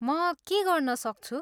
म के गर्न सक्छु?